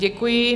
Děkuji.